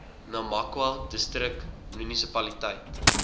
namakwa distrik munisipaliteit